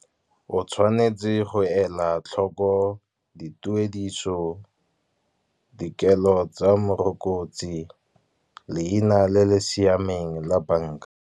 O tshwanetse go ela tlhoko dituediso dikelo tsa morokotsi, leina le le siameng la bank-a.